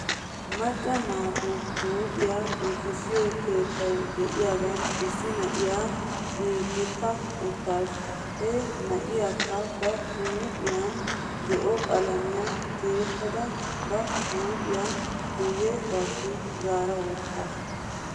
Macca naatu huuphiyaa giigissiyoo keettay de'iyaagan issi na'iyaa giigetta uttasu. He na'iyaakka ba huuphiyan zo'o qalamiyaa tiyettada ba huuphiyaa guyye baggi zaarawttasu.